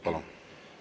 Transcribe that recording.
Palun!